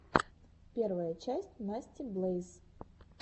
первая часть насти блэйз